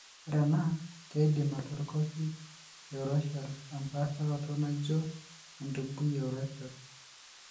Ore ena keidim atorikoki eurachal empaasharoto naijio entubui eurachal.